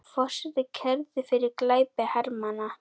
Forseti kærður fyrir glæpi hermanna